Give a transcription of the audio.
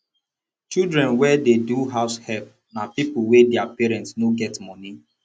children wey dey do househelp na pipo wey their parents no get money